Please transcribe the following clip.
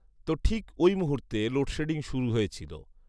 তো ঠিক ঐমুহূর্তে লোডশেডিং শুরু হয়েছিলো